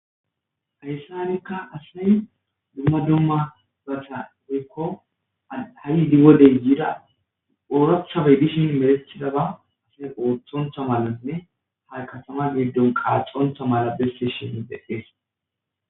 Hayssanikka asay dumma dumma basa dikko ha7i diwodey yida oorathabey dishin melethidaba asay ooththontha malanne ha katama giddon qaaxonta mala bessishini beees